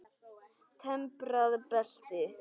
Temprað belti.